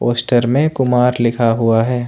Poster में कुमार लिखा हुआ है।